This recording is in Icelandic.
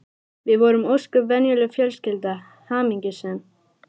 Við vorum ósköp venjuleg fjölskylda, hamingjusöm.